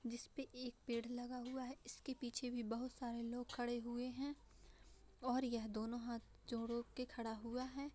जिसपे एक पेड़ लगा हुआ है इसके पीछे भी बहुत सारे लोग खड़े हुए हैं और ये दोनों हाथ जोड़ो के खड़ा हुआ है।